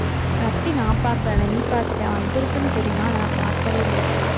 லத்தி நான் பாக்கல. ஆனா, நீ பாத்துட்ட வந்திருக்குன்னு தெரியும்